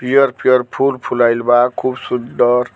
पियर-पियर फूल फुलाइल बा खुब सुंदर।